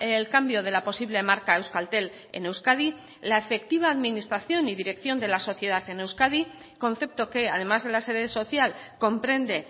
el cambio de la posible marca euskaltel en euskadi la efectiva administración y dirección de la sociedad en euskadi concepto que además de la sede social comprende